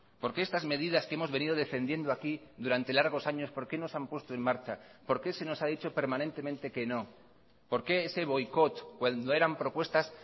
por qué estas medidas que hemos venido defendiendo aquí durante largos años por qué no se han puesto en marcha por qué se nos ha dicho permanentemente que no por qué ese boicot cuando eran propuestas